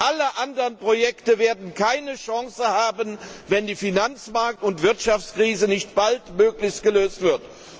Alle anderen Projekte werden keine Chance haben, wenn die Finanzmarkt und Wirtschaftskrise nicht baldmöglichst gelöst wird.